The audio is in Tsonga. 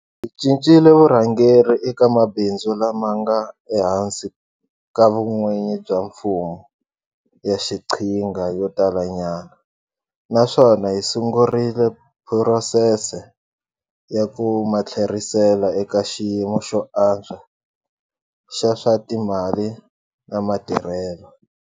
Hi cincile vurhangeri eka mabindzu lama nga ehansi ka vun'wini bya mfumo ya xiqhinga yo talanyana, naswona hi sungurile phurosese ya ku ma tlherisela eka xiyimo xo antswa xa swa timali na matirhelo.